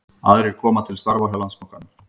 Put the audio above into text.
Aðrir koma til starfa hjá Landsbankanum